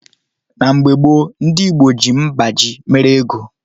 Na mgbo gbo ndi igbo ji mgbaji mere ego